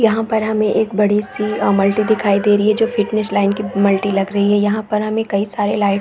यहाँ पर हमें एक बड़ी सी मल्टी दिखाई दे रही है जो फिटनेश लाइन के मल्टी लग रही है यहाँ पर हमें कही सारे लाइट्स --